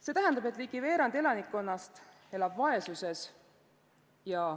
See tähendab, et ligi veerand elanikkonnast elab vaesuses.